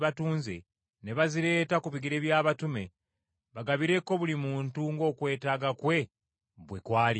ne bazireeta ku bigere by’abatume bagabireko buli muntu ng’okwetaaga kwe bwe kwalinga.